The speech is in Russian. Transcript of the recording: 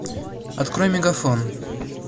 открой мегафон